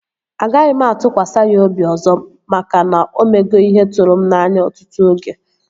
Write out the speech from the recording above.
Agaghị m atụkwasị ya obi ọzọ maka na o mego ihe tụrụ m n'anya ọtụtụ oge